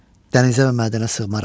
Dənizə və mədənə sığmaram.